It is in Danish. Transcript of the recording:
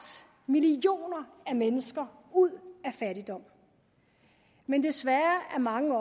millioner af mennesker ud af fattigdom men desværre er mange